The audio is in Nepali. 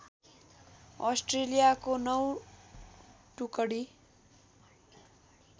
अस्ट्रेलियाको नौ टुकडी